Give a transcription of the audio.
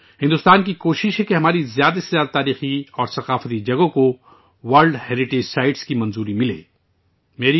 بھارت اپنے زیادہ سے زیادہ تاریخی اور ثقافتی مقامات کو عالمی ثقافتی ورثہ کے طور پر تسلیم کرنے کی کوشش کر رہا ہے